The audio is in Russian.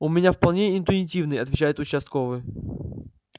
у меня вполне интуитивный отвечает участковый